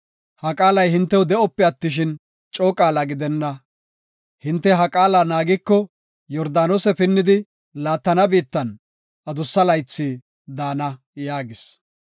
Ha qaalay hintew de7ope attishin, coo qaala gidenna. Hinte ha qaala naagiko, Yordaanose pinnidi laattana biittan adussa laythi daana” yaagis.